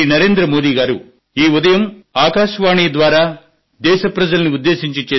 మీకు అందరికీ నమస్కారాలు